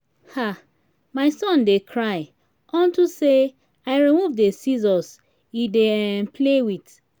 um my son dey cry unto say i remove the scissors he dey um play with